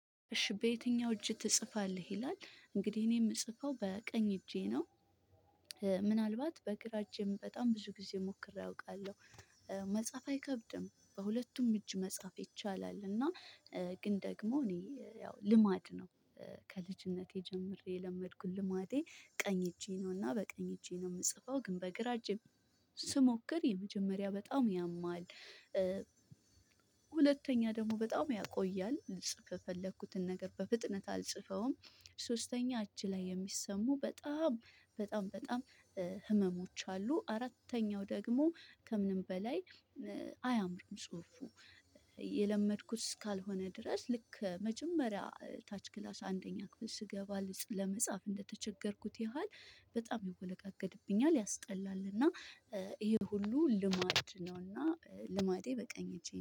እሺ በየትኛው እጅ ትጽፋለ? ይላል እንግዲህ እኔ የምጽፈው በቀኝ እጄ ነው። ምናልባት በግራ እጄም በጣም ብዙ ጊዜ ሞክሬ አውቃለሁ። መጻፍ አይከብድም በሁለቱም እጅ መጻፍ ይቻላል። እና ግን ደግሞ እኔ ያው ልማድ ነው። ከልጅነቴ ጀምሬ የለመድኩት ልማዴ ቀኝ እጄ ነውና በቀኝ እጄ ነው የምጽፈው ግን በግራ እጄ ስሞክር የመጀመሪያ በጣም ያማል። ሁለተኛ ደግሞ በጣም ያቆያል ልጽፍ የፈለኩትን ነገር በፍጥነት አልጽፈውም። ሶስተኛ እጅ ላይ የሚሰሙ በጣም በጣም በጣም ህመሞች አሉ። አራተኛው ደግሞ ከምንም በላይ አያምርም ጽሁፉ። የለመድኩት እስካልሆነ ድረስ ልክ መጀመሪያ ታች ክላስ አንደኛ ክፍል ስገባ ለመጻፍ እንደተቸገርኩት ያህል በጣም ይወለጋገድብኛል ያስጠላልና። ይሄ ሁሉ ልማድ ነውና ልማዴ በቀኝ እጄ ነው